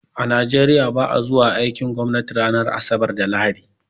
A Nigeriya ba a zuwa aikin gwamnati ranar asabar da lahadi.